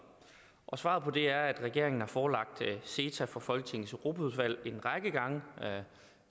svaret på det er at regeringen har forelagt ceta for folketingets europaudvalg en række gange jeg